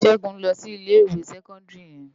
Segun n lò si Ilé iwé sèkòndiri yèn